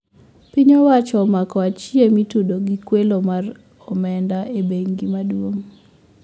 Pimy owacho omako achije mitudo gi kwelo mar omenda e bengi maduong`